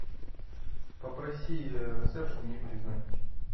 попроси ресепшн мне перезвонить